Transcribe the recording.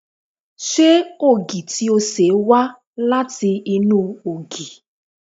Ṣé ògì tí o ṣe wá láti inú ògì?